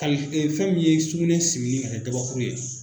Kali fɛn min ye sugunɛ simini k'a kɛ gabakuru ye.